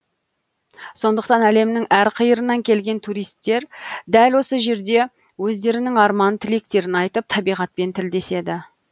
сондықтан әлемнің әрқиырынан келген туристер дәл осы жерде өздерінің арман тілектерін айтып табиғатпен тілдеседі